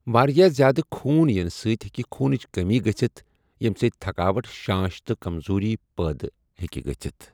واریاہ زیادٕ خوٗن یِنہٕ سۭتۍ ہیٚکہِ خوٗنٕچ کٔمی گٔژھتھ ییمہِ سۭتۍ تھکاوٹ، شانش تہٕ کمزوٗری پٲدٕ ہٮ۪کہِ گژھتھ۔